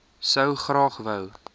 sou graag wou